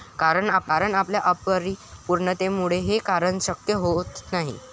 कारण आपल्या अपरिपूर्णतेमुळे हे करणं शक्य होत नाही.